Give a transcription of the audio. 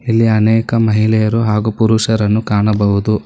ಇಲ್ಲಿ ಅನೇಕ ಮಹಿಳೆಯರು ಹಾಗು ಪುರುಷರನ್ನು ಕಾಣಬಹುದು.